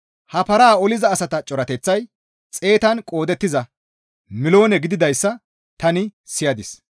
He paran oliza asata corateththay xeetatan qoodettiza miloone gididayssa tani siyadis.